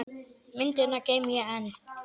Myndina geymi ég enn.